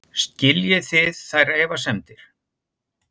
Skiljið þið þær efasemdir?